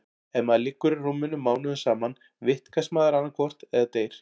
Ef maður liggur í rúminu mánuðum saman vitkast maður annaðhvort eða deyr.